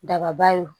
Daba ye o